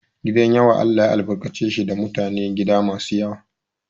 Gidan yawa Allah ya albarkace shi da mutanen gida masu yawa.